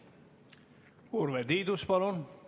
Urve Tiidus, palun!